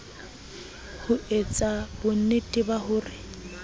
ho etsa bonnete ba hore